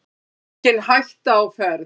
Engin hætta á ferð